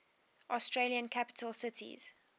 australian capital cities